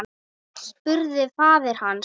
spurði faðir hans.